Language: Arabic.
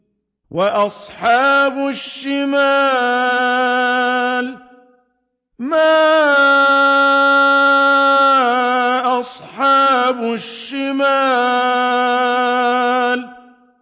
وَأَصْحَابُ الشِّمَالِ مَا أَصْحَابُ الشِّمَالِ